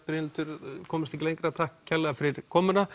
Brynhildur takk fyrir komuna